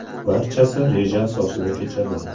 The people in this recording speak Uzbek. Barchasi reja asosida kechadi.